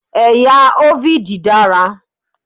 Ẹ̀yà Hovid dára.